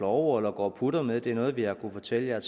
over eller går og putter med det er noget vi har kunnet fortælle jer